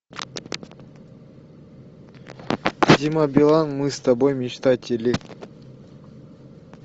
дима билан мы с тобой мечтатели